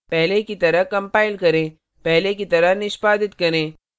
पहले की तरह कंपाइल करें पहले की तरह निष्पादित करें